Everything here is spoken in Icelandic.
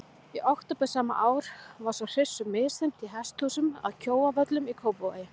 Í október sama ár var svo hryssu misþyrmt í hesthúsum að Kjóavöllum í Kópavogi.